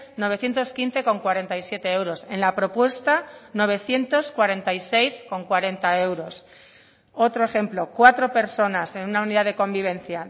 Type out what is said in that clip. novecientos quince coma cuarenta y siete euros en la propuesta novecientos cuarenta y seis coma cuarenta euros otro ejemplo cuatro personas en una unidad de convivencia